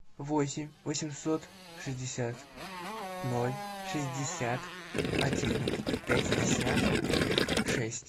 восемь восемьсот шестьдесят ноль шестьдесят один пятьдесят шесть